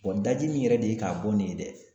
daji min yɛrɛ de ye k'a bɔ nin ye dɛ